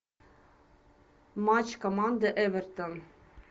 матч команды эвертон